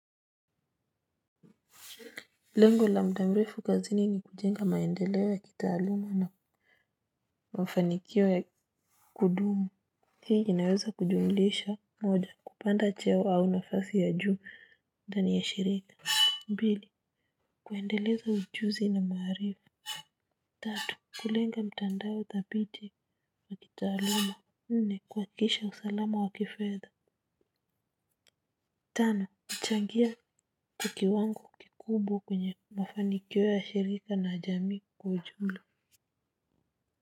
Lengo la muda mrefu kazini ni kujenga maendeleo ya kitaaluma na mafanikio ya kudumu. Hii inaweza kujumulisha moja, kupanda cheo au nafasi ya juu ndani ya shirika. Mbili, kuendeleza ujuzi na maarifa. Tatu, kulenga mtandao thabiti wa kitaaluma. Nne, kuhakikisha usalama wa kifedha. Tano, kuchangia kwa kiwango kikubwa kwenye mafanikio ya shirika na jamii kwa ujumla.